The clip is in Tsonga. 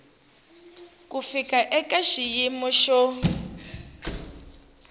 ku fika eka xiyimo xo